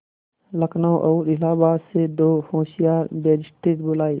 लखनऊ और इलाहाबाद से दो होशियार बैरिस्टिर बुलाये